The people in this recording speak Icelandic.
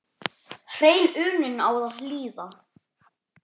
Hrein unun á að hlýða.